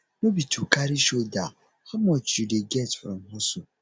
no be to carry shoulder how much you dey get from hustle